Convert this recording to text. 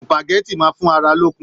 Supágẹ̀tì máa fún ará lókun.